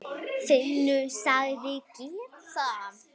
Finnur sagðist gera það.